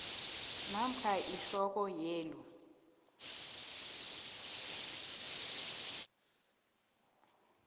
namkha ihloko yelu